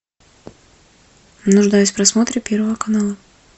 нуждаюсь в просмотре первого канала